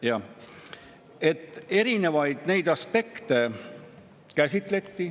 Jah, neid erinevaid aspekte käsitleti.